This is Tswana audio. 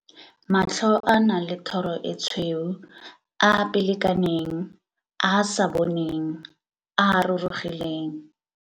I - Matlho a a nang le thoro e tshweu, a a pele kaneng, a a sa boneng, a a rurugileng.